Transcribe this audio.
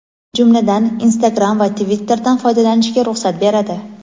jumladan Instagram va Twitterdan foydalanishga ruxsat beradi.